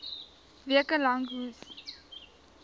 weke lank hoes